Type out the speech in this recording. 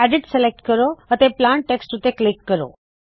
edit select ਕਰੋ ਅਤੇ plain text ਉੱਤੇ ਕਲਿੱਕ ਕਰੋ